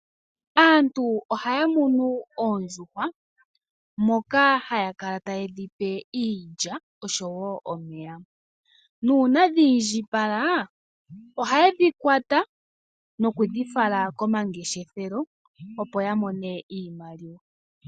Aantu ohaya munu oondjuhwa moka haya kala taye dhi pe iilya oshowo omeya, nuuna dhi indjipala ohaye dhi kwata noku dhi fala komangeshefelo, opo ya mone iimaliwa.